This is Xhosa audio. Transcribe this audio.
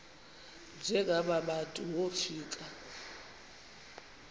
njengaba bantu wofika